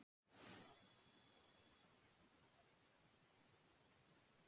svarar hún þá heiftúðug spurningu hans og logarnir gneista í kringum hana.